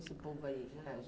esse povo aí?